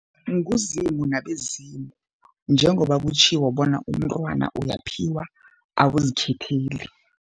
NguZimu nabezimu, njengoba kutjhiwo bona umntwana uyaphiwa awuzikhetheli.